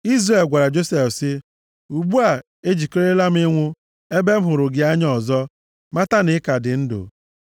Izrel gwara Josef sị, “Ugbu a ejikerela m ịnwụ, ebe m hụrụ ihu gị anya ọzọ, mata na ị ka dị ndụ.”